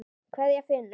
Kveðja, Finnur.